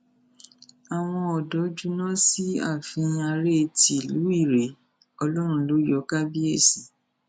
àwọn ọdọ júná sí ààfin aréé ti ìlú ìrèé ọlọrun ló yọ kábíyèsí